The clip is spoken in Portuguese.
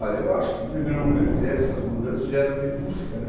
Olha, eu acho que no primeiro momento, quer dzer, essas mudanças geram o que busca, né?